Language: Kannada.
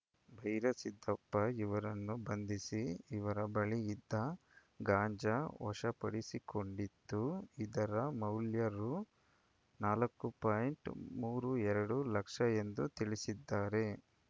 ಬೈರೆ ಸಿದ್ದಪ್ಪ ಇವರನ್ನು ಬಂಧಿಸಿ ಇವರ ಬಳಿ ಇದ್ದ ಗಾಂಜಾ ವಶಪಡಿಸಿಕೊಂಡಿದ್ದು ಇದರ ಮೌಲ್ಯ ರು ನಾಲ್ಕು ಪಾಯಿಂಟ್ ಮೂರು ಎರಡು ಲಕ್ಷ ಎಂದು ತಿಳಿಸಿದ್ದಾರೆ